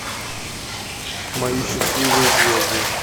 мои счастливые звезды